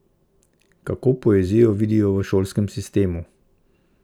Kako poezijo vidijo v šolskem sistemu?